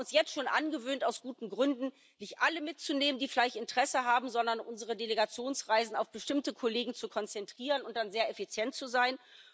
Wir haben uns jetzt schon aus guten Gründen angewöhnt, nicht alle mitzunehmen, die vielleicht Interesse haben, sondern unsere Delegationsreisen auf bestimmte Kollegen zu konzentrieren und dann sehr effizient zu sein.